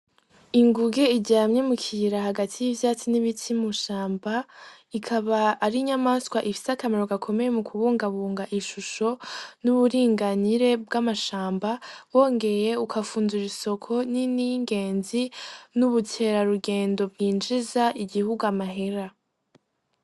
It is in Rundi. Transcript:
Inguge ijamye mu kiyira hagati y'ivyatsi n'ibitsimushamba ikaba ari inyamaswa ifisi akamero gakomeye mu kubungabunga ishusho n'uburinganire bw'amashamba bongeye ukafunzura isoko n'iningenzi n'ubutera rugendo bwinjiza igihuga amahera.